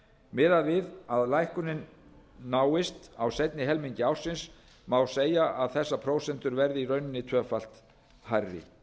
miðað við að lækkunin náist á seinni helmingi ársins má segja að þessar prósentur verði í rauninni tvöfalt hærri